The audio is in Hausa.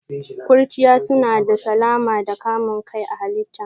Ƙurchiya suna da salama da kamun kai a halitta.